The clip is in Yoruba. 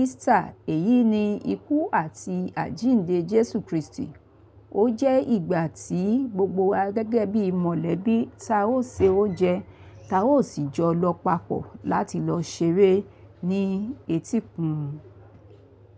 Easter. Èyí ni ikú àti àjínde Jesu Kristi. Ó jẹ́ ìgbà tí gbogbo wa gẹ́gẹ́ bí mọ̀lẹ́bí, táa ó se oúnjẹ, táa ó sì jọ lọ papọ̀ láti lọ ṣeré ní etíkun.